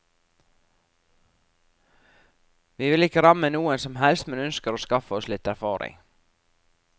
Vi vil ikke ramme noen som helst, men ønsker å skaffe oss litt erfaring.